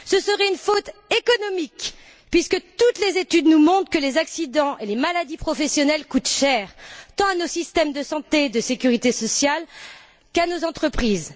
Ce serait aussi une faute économique, puisque toutes les études nous montrent que les accidents et les maladies professionnelles coûtent cher, tant à nos systèmes de santé et de sécurité sociale qu'à nos entreprises.